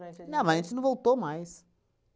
o dia? Não, mas a gente não voltou mais.